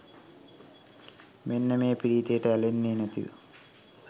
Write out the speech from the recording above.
මෙන්න මේ ප්‍රීතියට ඇලෙන්නෙ නැතිව